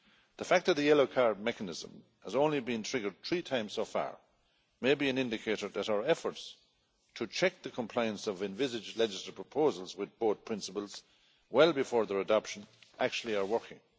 The fact that the yellow card mechanism has only been triggered three times so far may be an indicator that our efforts to check the compliance of envisaged legislative proposals with both principles well before their adoption actually are working.